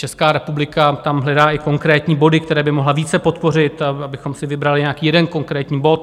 Česká republika tam hledá i konkrétní body, které by mohla více podpořit, abychom si vybrali nějaký jeden konkrétní bod.